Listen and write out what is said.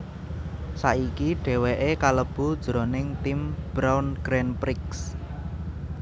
Saiki dhèwèké kalebu jroning tim Brawn Grand Prix